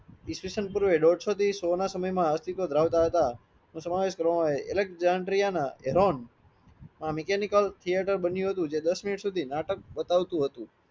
ઇસવીશં પૂર્વે દોડસો થી સો ના સમય માં અસ્થીત્વ ધરાવતા હતા સમાવેશ કરવામાં આવે અલેક્સનદરીયાના આ મીકેનીકલ theatre બન્યું હતું જે દસ મિનિટ સુધી નાટક બતાવતું હતું